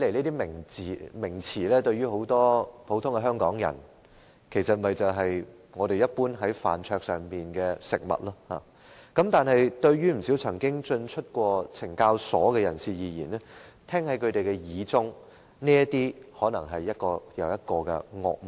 這些名詞對於很多香港人來說，只是飯桌上的食物，但不少曾經進出懲教所的人聽在耳裏，卻可能是一個又一個的惡夢。